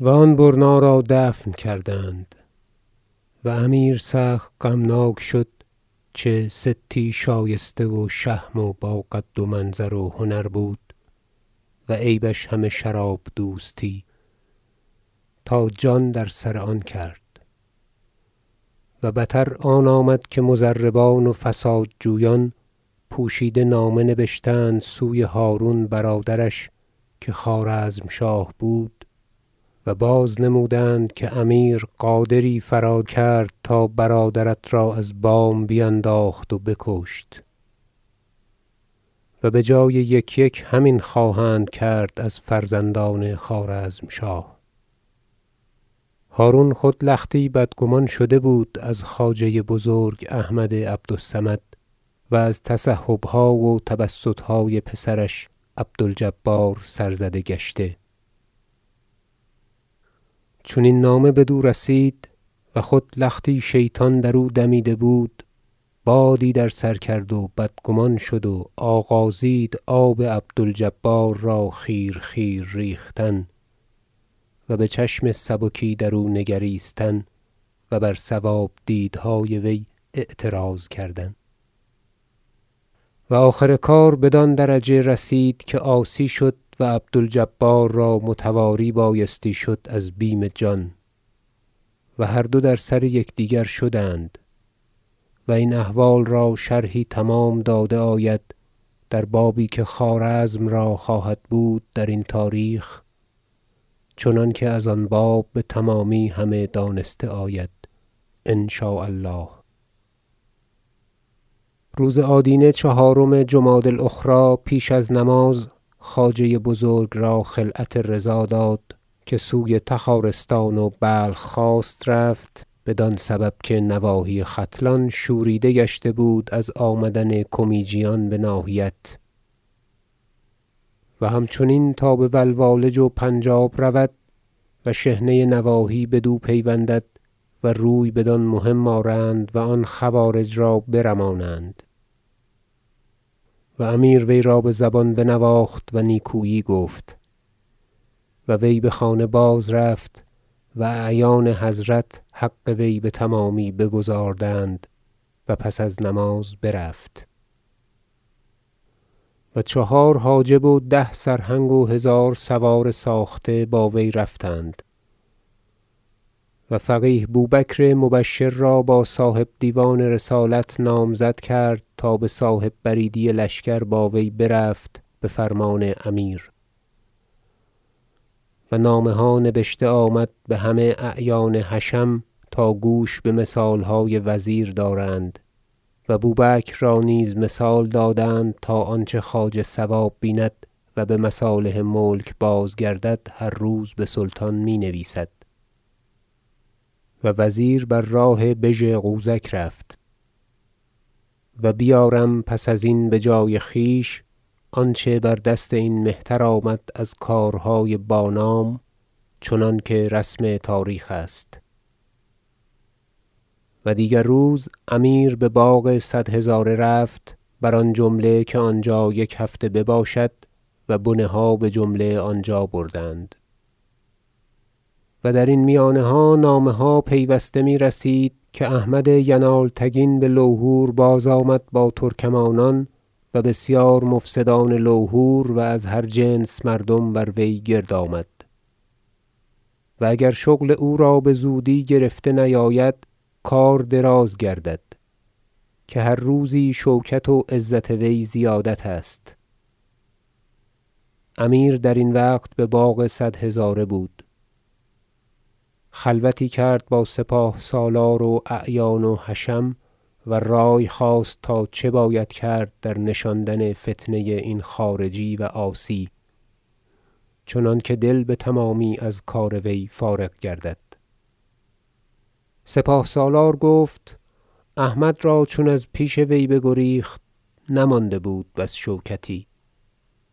و آن برنا را دفن کردند و امیر سخت غمناک شد چه ستی شایسته و شهم و با قد و منظر و هنر بود و عیبش همه شراب دوستی تا جان در آن سر کرد و بتر آن آمد که مضربان و فساد جویان پوشیده نامه نبشتند سوی هرون برادرش که خوارزمشاه بود و بازنمودند که امیر غادری فراکرد تا برادرت را از بام بینداخت و بکشت و بجای یک یک همین خواهند کرد از فرزندان خوارزمشاه هرون بدگمان شده بود از خواجه بزرگ احمد عبد الصمد و از تسحب ها و تبسط های پسرش عبد الجبار سرزده گشته چون این نامه بدو رسید و خود لختی شیطان در او دمیده بود بادی در سر کرد و بدگمان شد و آغازید آب عبد الجبار را خیر خیر ریختن و به چشم سبکی درو نگریستن و بر صواب دیدهای وی اعتراض کردن و آخر کار بدان درجه رسید که عاصی شد و عبد الجبار را متواری بایست شد از بیم جان و هر دو در سر یکدیگر شدند و این احوال را شرحی تمام داده آید در بابی که خوارزم را خواهد بود درین تاریخ چنانکه از آن باب به تمامی همه دانسته آید ان شاء الله روز آدینه چهارم جمادی الاخری پیش از نماز خواجه بزرگ را خلعت رضا داد که سوی تخارستان و بلخ خواست رفت بدان سبب که نواحی ختلان شوریده گشته بود از آمدن کمیجیان به ناحیت و همچنین تا بولوالج و پنج آب رود و شحنه نواحی بدو پیوندد و روی بدان مهم آرند و آن خوارج را برمانند و امیر وی را به زبان بنواخت و نیکویی گفت و وی به خانه بازرفت و اعیان حضرت حق وی به تمامی بگزاردند و پس از نماز برفت و چهار حاجب و ده سرهنگ و هزار سوار ساخته با وی رفتند و فقیه بوبکر مبشر را صاحب دیوان رسالت نامزد کرد تا به صاحب بریدی لشکر با وی رفت به فرمان امیر و نامه ها نبشته آمد به همه اعیان حشم تا گوش به مثال های وزیر دارند و بوبکر را نیز مثال دادند تا آنچه خواجه صواب بیند و به مصالح ملک بازگردد هر روز به سلطان می نویسد و وزیر بر راه بژ غوزک رفت و بیارم پس ازین به جای خویش آنچه بر دست این مهتر آمد از کارهای با نام چنانکه رسم تاریخ است و دیگر روز امیر به باغ صد هزاره رفت بر آن جمله که آنجا یک هفته بباشد و بنه ها به جمله آنجا بردند و درین میانها نامه ها پیوسته می رسید که احمد ینالتگین بلوهور بازآمد با ترکمانان و بسیار مفسدان لوهور و از هر جنس مردم بر وی گرد آمد و اگر شغل او را به زودی گرفته نیاید کار دراز گردد که هر روزی شوکت و عزت وی زیادت است امیر درین وقت به باغ صد هزاره بود خلوتی کرد با سپاه سالار و اعیان و حشم و رای خواست تا چه باید کرد در نشاندن فتنه این خارجی و عاصی چنانکه دل به تمامی از کار وی فارغ گردد سپاه سالار گفت احمد را چون از پیش وی بگریخت نمانده بود بس شوکتی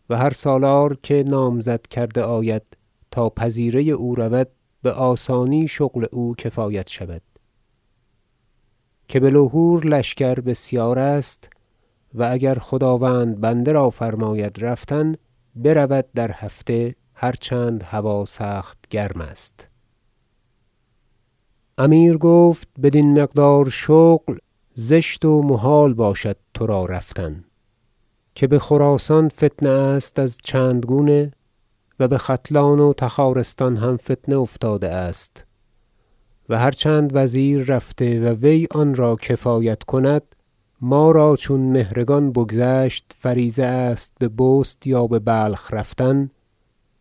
و هر سالار که نامزد کرده آید تا پذیره او رود به آسانی شغل او کفایت شود که به لوهور لشکر بسیارست و اگر خداوند بنده را فرماید رفتن برود در هفته هر چند هوا سخت گرم است امیر گفت بدین مقدار شغل زشت و محال باشد ترا رفتن که به خراسان فتنه است از چند گونه و به ختلان و تخارستان هم فتنه افتاده است و هر چند وزیر رفته و وی آن را کفایت کند ما را چون مهرگان بگذشت فریضه است به بست یا به بلخ رفتن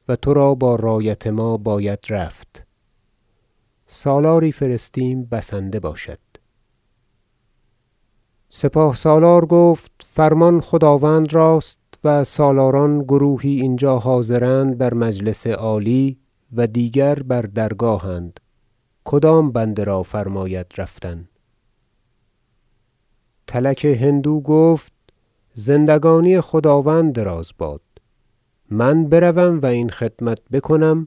و ترا با رایت ما باید رفت سالاری فرستیم بسنده باشد سپاه سالار گفت فرمان خداوند راست و سالاران گروهی اینجا حاضرند در مجلس عالی و دیگر بر درگاه اند کدام بنده را فرماید رفتن تلک هندو گفت زندگانی خداوند دراز باد من بروم و این خدمت بکنم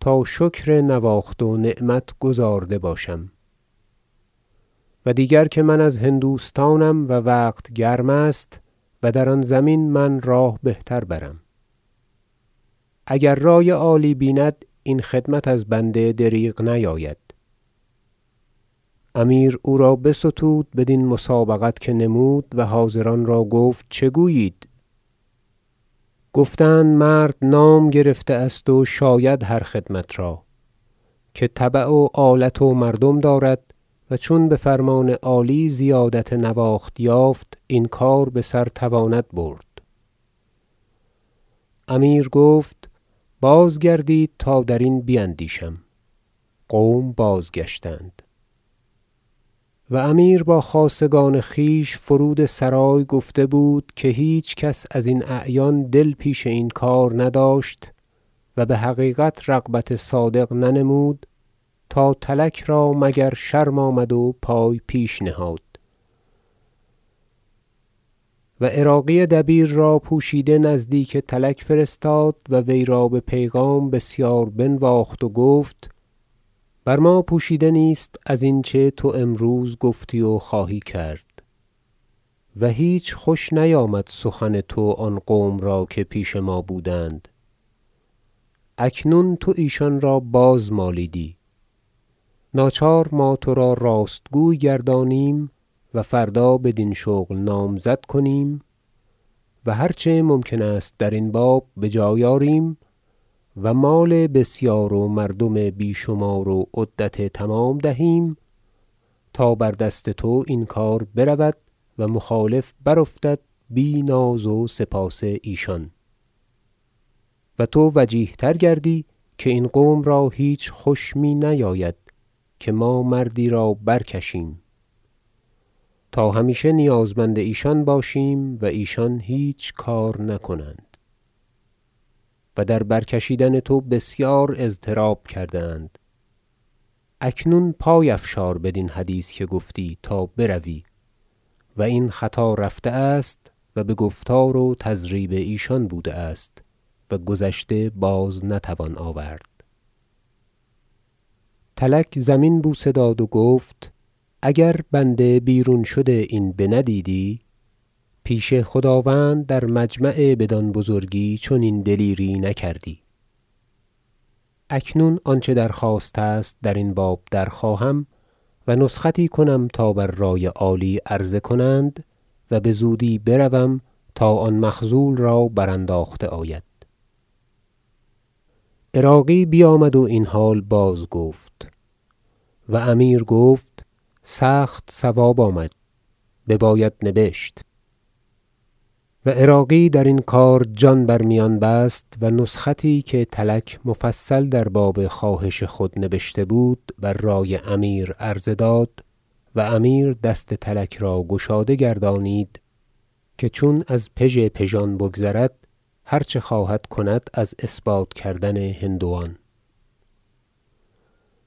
تا شکر نواخت و نعمت گزارده باشم و دیگر که من از هندوستانم و وقت گرم است و در آن زمین من راه بهتر برم اگر رای عالی بیند این خدمت از بنده دریغ نیاید امیر او را بستود بدین مسابقت که نمود و حاضران را گفت چه گویید گفتند مرد نام گرفته است و شاید هر خدمت را که تبیع و آلت و مردم دارد و چون به فرمان عالی زیادت نواخت یافت این کار به سر تواند برد امیر گفت بازگردید تا درین بیندیشم قوم بازگشتند و امیر با خاصگان خویش فرود سرای گفته بود که هیچ کس ازین اعیان دل پیش این کار نداشت و به حقیقت رغبت صادق ننمود تا تلک را مگر شرم آمد و پای پیش نهاد و عراقی دبیر را پوشیده نزدیک تلک فرستاد و وی را به پیغام بسیار بنواخت و گفت بر ما پوشیده نیست ازین چه تو امروز گفتی و خواهی کرد و هیچ خوش نیامد سخن تو آن قوم را که پیش ما بودند اکنون تو ایشان را باز مالیدی ناچار ما ترا راستگوی گردانیم و فردا بدین شغل نامزد کنیم و هر چه ممکن است درین باب بجای آریم و مال بسیار و مردم بی شمار و عدت تمام دهیم تا بر دست تو این کار برود و مخالف برافتد بی ناز و سپاس ایشان و تو وجیه تر گردی که این قوم را هیچ خوش می نیاید که ما مردی را برکشیم تا همیشه نیازمند ایشان باشیم و ایشان هیچ کار نکنند و در برکشیدن تو بسیار اضطراب کرده اند اکنون پای افشار بدین حدیث که گفتی تا بروی و این خطا رفته است و به گفتار و تضریب ایشان بوده است و گذشته باز نتوان آورد تلک زمین بوسه داد و گفت اگر بنده بیرون شد این بندیدی پیش خداوند در مجمع بدان بزرگی چنین دلیری نکردی اکنون آنچه درخواست است درین باب درخواهم و نسختی کنم تا بر رای عالی عرضه کنند و به زودی بروم تا آن مخذول را برانداخته آید عراقی بیامد و این حال بازگفت و امیر گفت سخت صواب آمد بباید نبشت و عراقی درین کار جان بر میان بست و نسختی که تلک مفصل در باب خواهش خود نبشته بود بر رای امیر عرضه داد و امیر دست تلک را گشاده گردانید که چون از پژپژان بگذرد هر چه خواهد کند از اثبات کردن هندوان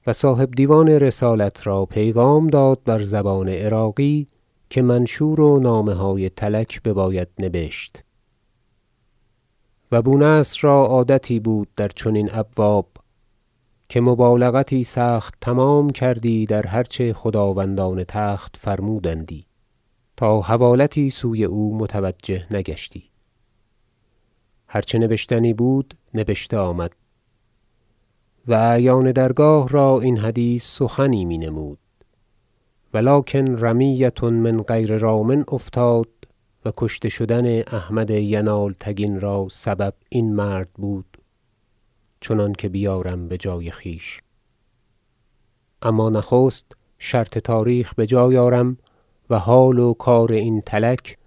و صاحب دیوان رسالت را پیغام داد بر زبان عراقی که منشور و نامه های تلک بباید نبشت و بونصر را عادتی بود در چنین ابواب که مبالغتی سخت تمام کردی در هر چه خداوندان تخت فرمودندی تا حوالتی سوی او متوجه نگشتی هر چه نبشتنی بود نبشته آمد و اعیان درگاه را این حدیث سخنی می نمود ولکن رمیة من غیر رام افتاد و کشته شدن احمد ینالتگین را سبب این مرد بود چنانکه بیارم بجای خویش اما نخست شرط تاریخ بجای آرم و حال و کار این تلک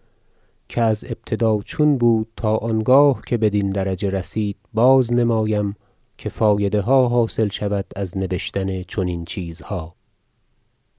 که از ابتدا چون بود تا آنگاه که بدین درجه رسید بازنمایم که فایده ها حاصل شود از نبشتن چنین چیزها